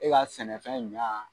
E ka sɛnɛfɛn ɲa